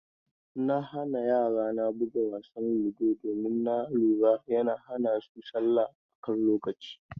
Na hana yara na buga wasa ludo domin na lura yana hana su salla a kan lokaci.